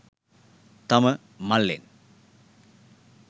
තම මල්ලෙන්